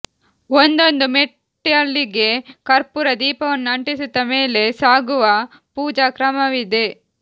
ಒಂದೊಂದು ಮೆಟ್ಟಲಿಗೆ ಕರ್ಪೂರ ದೀಪವನ್ನು ಅಂಟಿಸುತ್ತಾ ಮೇಲೆ ಸಾಗುವ ಪೂಜಾ ಕ್ರಮವಿದೆ